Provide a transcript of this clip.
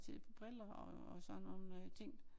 Til et par briller og sådan nogle øh ting